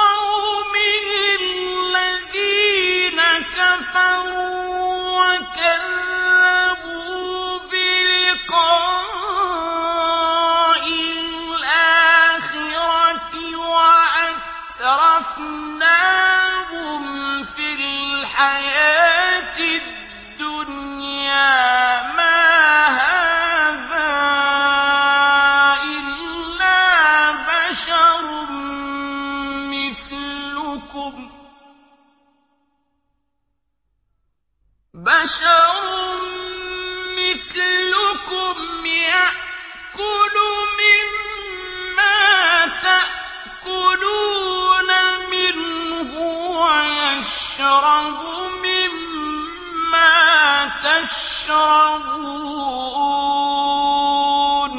قَوْمِهِ الَّذِينَ كَفَرُوا وَكَذَّبُوا بِلِقَاءِ الْآخِرَةِ وَأَتْرَفْنَاهُمْ فِي الْحَيَاةِ الدُّنْيَا مَا هَٰذَا إِلَّا بَشَرٌ مِّثْلُكُمْ يَأْكُلُ مِمَّا تَأْكُلُونَ مِنْهُ وَيَشْرَبُ مِمَّا تَشْرَبُونَ